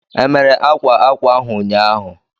E mere akwa ákwà ahu ụnyaahụ?